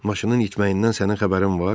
Maşının itməyindən sənin xəbərin var?